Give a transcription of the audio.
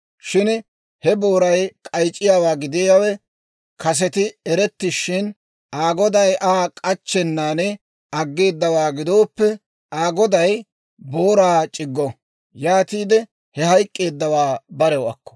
Shin he booray k'ayc'c'iyaawaa gidiyaawe kaseti erettishin, Aa goday Aa k'achchennaan aggeedawaa gidooppe, Aa goday booraa c'iggo. Yaatiide he hayk'k'eeddawaa barew akko.